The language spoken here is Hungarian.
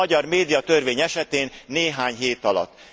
A magyar médiatörvény esetén néhány hét alatt.